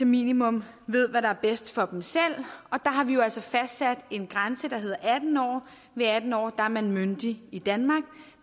minimum ved hvad der er bedst for dem selv og der har vi jo altså fastsat en grænse der hedder atten år ved atten år er man myndig i danmark